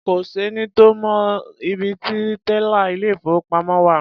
Kò sẹ́ni tó mọ ibi ti tẹ́là ilé-ìfowópamọ́ wà.